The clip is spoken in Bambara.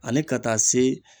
Ani ka taa se